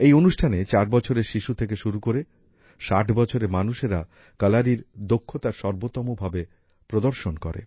এই অনুষ্ঠানে চার বছরের শিশু থেকে শুরু করে ষাট বছরের মানুষেরা কলারীর দক্ষতার সর্বোত্তম ভাবে প্রদর্শন করে